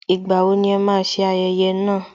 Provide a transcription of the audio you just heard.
Ìgbà wo ni ẹ máa ṣe ayẹyẹ náà